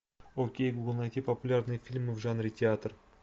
окей гугл найти популярные фильмы в жанре театр